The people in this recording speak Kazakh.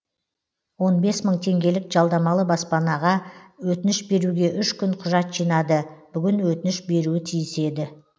он бес мың теңгелік жалдамалы баспанаға өтініш беруге үш күн құжат жинады бүгін өтініш беруі тиіс еді